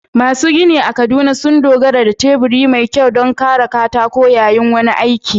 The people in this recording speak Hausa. Masu ginin a Kaduna sun dogara da tebur mai kyau don kare katako yayin wani aiki.